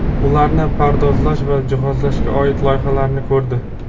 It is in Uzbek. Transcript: ularni pardozlash va jihozlashga oid loyihalarni ko‘rdi.